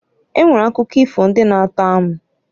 E nwere akụkọ ifo ndị na-atọ amụ.